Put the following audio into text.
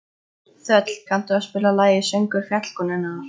Þöll, kanntu að spila lagið „Söngur fjallkonunnar“?